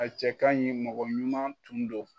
A cɛ kaɲi mɔgɔ ɲuman tun don.